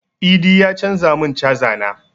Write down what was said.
Idi ya canza mun caza na